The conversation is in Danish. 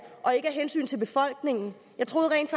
og ikke af hensyn til befolkningen jeg troede rent